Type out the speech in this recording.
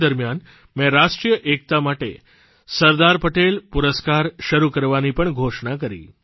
તે દરમ્યાન મેં રાષ્ટ્રીય એકતા માટે સરદાર પટેલ પુરસ્કાર શરૂ કરવાની પણ ઘોષણા કરી